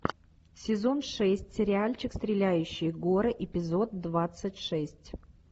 сезон шесть сериальчик стреляющие горы эпизод двадцать шесть